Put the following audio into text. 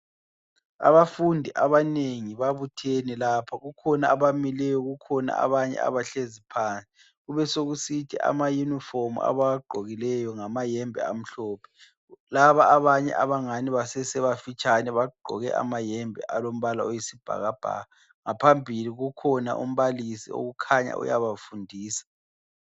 Abafundi abanengi babuthene lapha, kukhona abamileyo kukhona abanye abahlezi phansi. Kubesokusithi amayunifomu abawagqokileyo ngamayembe amhlophe, laba abanye abangani basesebafitshane bagqoke amayembe alombala oyisibhakabhaka. Ngaphambili kukhona umbalisi okukhanya uyabafundisa.